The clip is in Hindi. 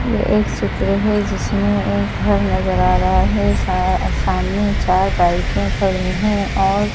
यह एक चित्र है जिसमें एक घर नजर आ रहा है सा सामने चार बाइकें खड़ी हैं और--